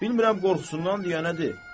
Bilmirəm qorxusundandır, ya nədir?